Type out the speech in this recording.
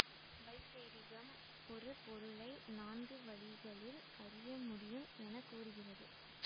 வைசேடிகம் ஒரு பொருளை நான்கு வழிகளில் அறிய முடியும் எனக்கூறுகிறது